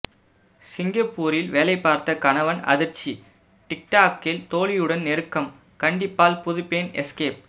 சிங்கப்பூரில் வேலை பார்த்த கணவன் அதிர்ச்சி டிக்டாக்கில் தோழியுடன் நெருக்கம் கண்டிப்பால் புதுப்பெண் எஸ்கேப்